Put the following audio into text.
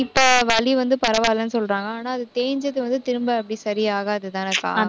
இப்போ வலி வந்து பரவாயில்லைன்னு சொல்றாங்க. ஆனா, அது தேஞ்சது வந்து திரும்ப அப்படி சரியாகாதுதானேக்கா